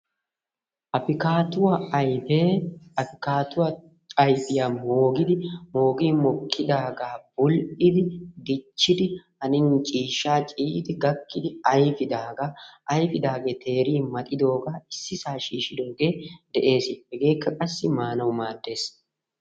Afikkaattuwa ayfee afkkaatuwa ayfiya moogin mokkidaagaa bull'idi dichidi hannin ciishshaa ciiyidi gakkidagee ayfidaagaa ayfidaagee teerin maxxidoogaa issisaa shiishidoogee de'ees, hegeekka qassi maanawu maaddees.